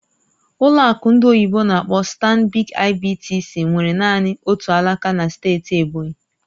Ụlọ akụ ndị oyibo n'akpọ "Stanbic IBTC" nwere naanị otu alaka na steeti Ebonyi